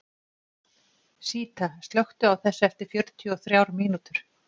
Síta, slökktu á þessu eftir fjörutíu og þrjár mínútur.